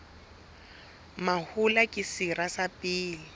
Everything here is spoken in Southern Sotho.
mahola ke sera sa pele